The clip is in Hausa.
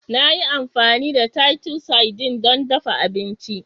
Na yi amfani da Titus sardines don dafa abinci